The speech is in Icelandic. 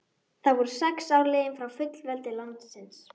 Þá voru sex ár liðin frá fullveldi landsins.